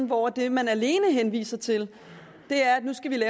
hvor det man alene henviser til er at nu skal